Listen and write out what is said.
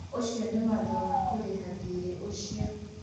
Ũcio nĩ watho wa kũrĩha thirĩ ũcio.